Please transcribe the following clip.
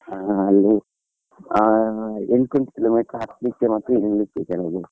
ಹಾ ಅಲ್ಲಿ ಹಾ ಎಂಟ್ನೂರ್ kilometer ಹತ್ಲಿಕ್ಕೆ ಮತ್ತೆ ಇಳೀಲಿಕ್ಕೆ ಕೆಳಗೆ.